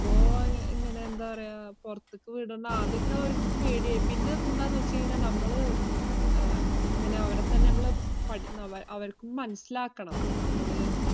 ഇപ്പോ ഇങ്ങനെ എന്താ പറയാ പൊറത്തൊക്കെ വിടുന്ന ആദ്യൊക്കെ അവർക്ക് പേടിയായി. പിന്നെ അത് എന്താന്ന് വെച്ചുകഴിഞ്ഞാൽ നമ്മള് അഹ് ഇങ്ങന അവരെത്തന്നെ നമ്മള് പടി~ അവ~ അവർക്കും മനസ്സിലാക്കണം നമ്മള്